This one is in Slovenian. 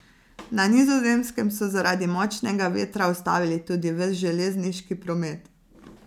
Na Nizozemskem so zaradi močnega vetra ustavili tudi ves železniški promet.